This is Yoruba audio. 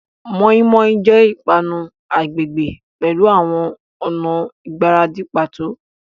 Moninmonin jẹ ipanu agbegbe pẹlu awọn ọna igbaradi pato.